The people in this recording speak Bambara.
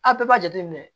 A bɛɛ b'a jateminɛ